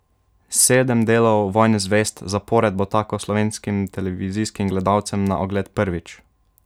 Sedem delov Vojne zvezd zapored bo tako slovenskim televizijskim gledalcem na ogled prvič!